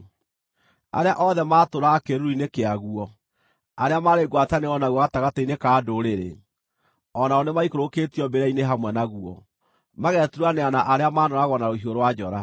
Arĩa othe maatũũraga kĩĩruru-inĩ kĩaguo, arĩa maarĩ ngwatanĩro naguo gatagatĩ-inĩ ka ndũrĩrĩ, o nao nĩmaikũrũkĩtio mbĩrĩra-inĩ hamwe naguo, mageturanĩra na arĩa maanooragwo na rũhiũ rwa njora.